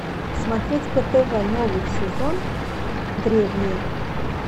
смотреть по тв новый сезон древние